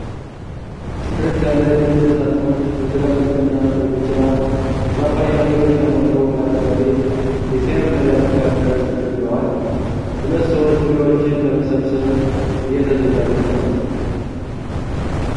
ጥርት ያሉ ጥቁር ሣጥኖች በትላልቅና በቢጫ የፓፓያ ፍሬዎች ተሞልተው በአረንጓዴ የሳር ሜዳ መካከል ተደርድረዋል። ሁለት ሰዎች ፍሬዎቹን ለመሰብሰብ እየተዘጋጁ ነው።